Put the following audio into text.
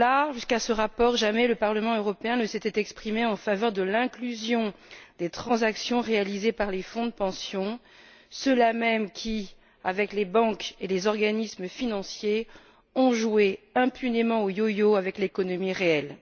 Jusqu'à ce rapport, jamais le Parlement européen ne s'était exprimé en faveur de l'inclusion des transactions réalisées par les fonds de pension, ceux là même qui, avec les banques et les organismes financiers, ont joué impunément au yo yo avec l'économie réelle.